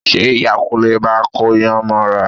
Ṣe Ìyá Kúnlé máa kóyàn mọ́ra?